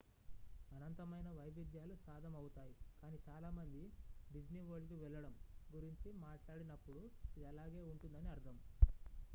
"అనంతమైన వైవిధ్యాలు సాధమవుతాయి కానీ చాలా మంది "డిస్నీ వరల్డ్‌కు వెళ్లడం" గురించి మాట్లాడినప్పుడు ఇది అలాగే ఉంటుందని అర్థం.